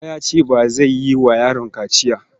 Bala ya ce ba zai yi wa yaron kaciya.